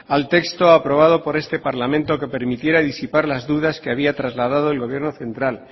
al texto aprobado por este parlamento que permitiera disipar las dudas que había trasladado el gobierno central